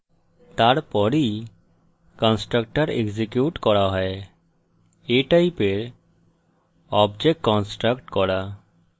তারপরই constructor execute করা হয় a টাইপের object কন্সট্রকট করা